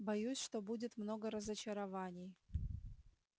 боюсь что будет много разочарований